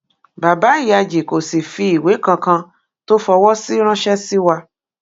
bàbá ìyájí kò sì fi ìwé kankan tó fọwọ sí ránṣẹ sí wa